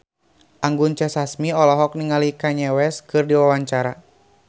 Anggun C. Sasmi olohok ningali Kanye West keur diwawancara